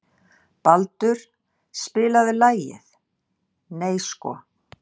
Baldur, spilaðu lagið „Nei sko“.